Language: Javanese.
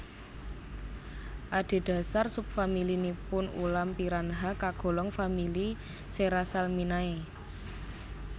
Adhedhasar sub famili nipun ulam piranha kagolong famili Serrasalminae